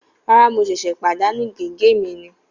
Rárá, mo ṣẹ̀ṣẹ̀ pàdánù gègé mi ni